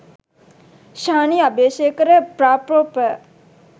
Shani Abeysekara ප්‍ර.‍පො.ප.